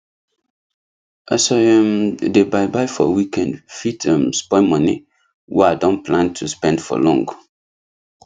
as i um dey buy buy for weekend fit um spoil money wey i don plan to spend for long